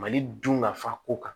Mali dun nafa ko kan